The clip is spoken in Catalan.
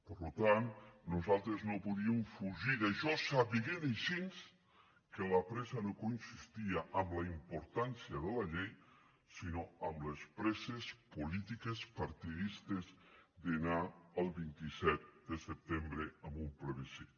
per tant nosaltres no podíem fugir d’això sabent així que la pressa no consistia en la importància de la llei sinó en les presses polítiques partidistes d’anar el vint set de setembre a un plebiscit